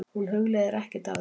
Hún hugleiðir ekkert af þessu.